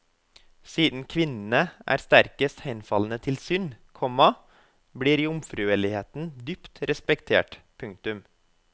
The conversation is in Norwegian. Siden kvinnene er sterkest henfalne til synd, komma blir jomfruelighet dypt respektert. punktum